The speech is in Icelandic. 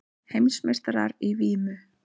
Heimsmeistarar í vímu